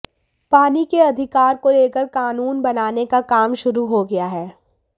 पानी के अधिकार को लेकर कानून बनाने का काम शुरू हो गया है